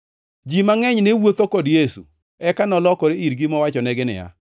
Ji mangʼeny ne wuotho kod Yesu, eka nolokore irgi mowachonegi niya,